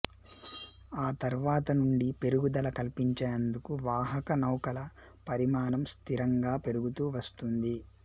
ఆ తర్వాత నుండి పెరుగుదల కల్పించేందుకు వాహకనౌకల పరిమాణం స్థిరంగా పెరుగుతూ వస్తుంది